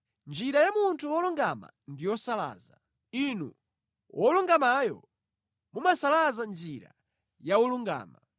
Njira ya munthu wolungama ndi yosalaza, Inu Wolungamayo, mumasalaza njira ya wolungama.